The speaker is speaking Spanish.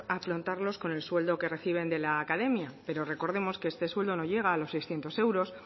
afrontarlos con el sueldo que reciben de la academia pero recordemos que este sueldo no llega a los seiscientos euros